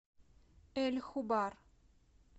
эль хубар